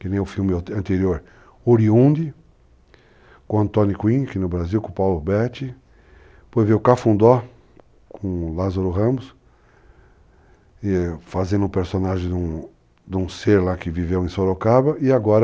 Que nem o filme anterior, Oriunde, com Antony Quinn, que no Brasil, com o Paulo Huberti, depois veio Cafundó, com o Lázaro Ramos, fazendo o personagem de um ser lá que viveu em Sorocaba, e agora